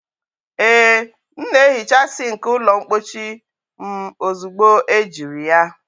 Ee m na-ehicha sink ụlọ mpochi m ozugbo ejiri ya